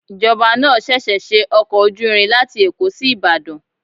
Ìjọba náà ṣẹ̀ṣẹ̀ ṣe ọkọ̀ ojú irin láti Èkó sí Ìbàdàn.